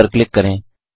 add पर click करें